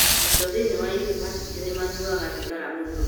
Arutwo thĩinĩ wa yunivasĩtĩ nĩ manyuaga thigara mũno